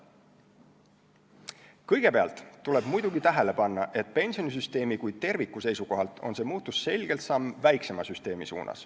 Kõigepealt tuleb muidugi tähele panna, et pensionisüsteemi kui terviku seisukohalt on see muutus selgelt samm väiksema süsteemi poole.